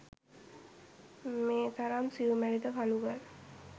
මේ තරම් සියුමැලි ද කළුගල්